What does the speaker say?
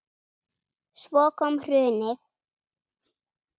Svo kom hrunið.